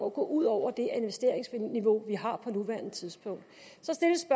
at gå ud over det investeringsniveau vi har på nuværende tidspunkt så stilles